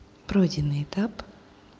пройденный этап